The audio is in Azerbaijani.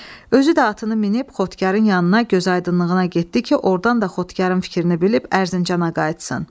Özü də atını minib xotkarın yanına gözaydınlığına getdi ki, ordan da xotkarın fikrini bilib Ərzincana qayıtsın.